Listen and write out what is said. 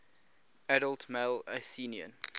adult male athenian